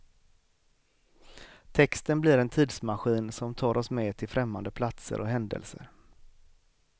Texten blir en tidsmaskin som tar oss med till främmande platser och händelser.